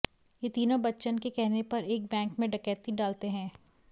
ये तीनों बच्चन के कहने पर एक बैंक में डकैती डालते हैं